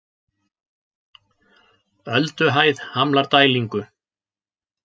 Ölduhæð hamlar dælingu